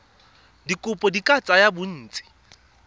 dikopo di ka tsaya bontsi